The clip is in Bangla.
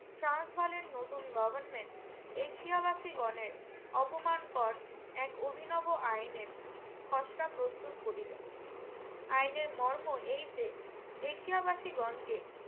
ট্রান্স বানের নতুন government এশিয়া বাসিগণের অপমান পর এক অভিনব আইনের খসরা প্রস্তুত করিলেন আইনের মর্ম এই যে এশিয়া বাসি গন কে